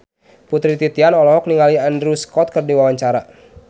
Putri Titian olohok ningali Andrew Scott keur diwawancara